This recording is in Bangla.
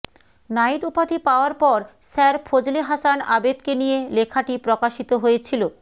নাইট উপাধি পাওয়ার পর স্যার ফজলে হাসান আবেদকে নিয়ে লেখাটি প্রকাশিত হয়েছিল